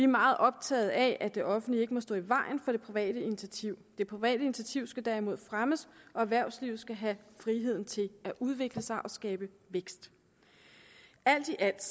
meget optaget af at det offentlige ikke må stå i vejen for det private initiativ det private initiativ skal derimod fremmes og erhvervslivet skal have friheden til at udvikle sig og skabe vækst alt i alt